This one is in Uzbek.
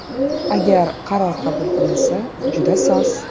Agar qaror qabul qilinsa, juda soz.